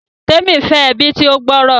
Temi fẹ ẹbi tí o gb'ọrọ